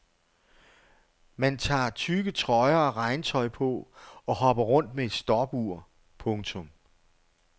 Man tager tykke trøjer og regntøj på og hopper rundt med et stopur. punktum